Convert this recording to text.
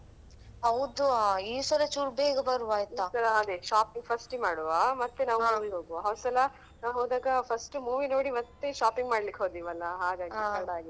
ಹೌದು ಆ ಈ ಸಲ ಚುರ್ ಬೇಗ ಬರ್ವ ಆಯ್ತಾ ಈ ಸಲ ಅದೇ shop first ಗೆ ಮಾಡುವ ಮತ್ತೆ ನಾವ್ ಹಾ ಮತ್ತೆ ನಾವ್ movie ಗೆ ಹೋಗುವ ಹೋದ್ಸಲ ನಾವ್ ಹೋದಾಗ first movie ನೋಡಿ ಮತ್ತೆ shopping ಮಾಡ್ಲಿಕೆ ಹೋದೆವೆ ಅಲ್ಲಾ ಹಾಗಾಗಿ ಹಾ ತಡ ಆಯ್ತು